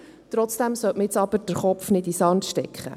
Trotzdem sollte man nun jedoch den Kopf nicht in den Sand stecken.